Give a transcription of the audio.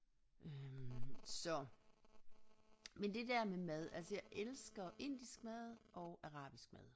Øh så men det der med mad altså jeg elsker indisk mad og arabisk mad